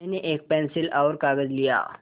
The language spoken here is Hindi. मैंने एक पेन्सिल और कागज़ लिया